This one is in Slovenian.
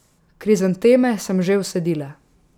Krizanteme sem že vsadila.